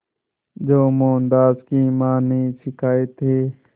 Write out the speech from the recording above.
जो मोहनदास की मां ने सिखाए थे